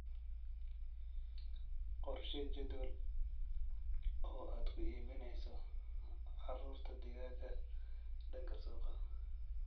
Qorshee jadwal oo aad ku iibineyso caruurta digaagga danka suuqa.